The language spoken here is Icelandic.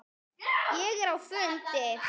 Ég er á fundi